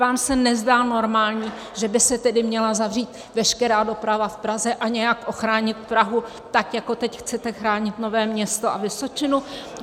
Vám se nezdá normální, že by se tedy měla zavřít veškerá doprava v Praze a nějak ochránit Prahu, tak jako teď chcete chránit Nové Město a Vysočinu?